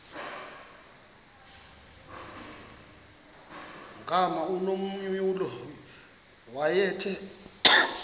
gama unomvuyo wayethe